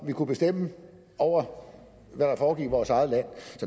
vi kunne bestemme over hvad der foregik i vores eget land